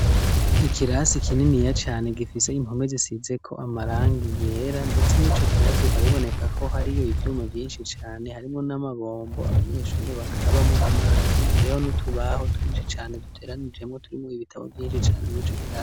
Ikirasi kininiya cane gifise impume zisize ko amaranga iyera mdetse mwoico kirasi bikaba biboneka ko hariyo ivyuma vyinshi cane harimwo n'amabombo abanyeshuri bakarabamwa amazi hariho niutubaho twinshi cane duteranijemwo turimwo ibitabo vyinshi cane mw'ico kirase.